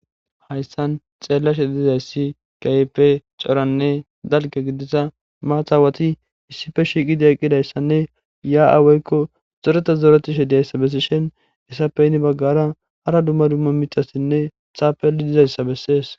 hayssan xeellashe dizayssi keype coranne dalke gidisa maathawati issife shiiqidi eqqidayssanne yaa7aaweykko xoreta zoretishe diyayssa bessishen essappe yinni baggara hara dumma dumma micassinne taapeli dizayssa bessees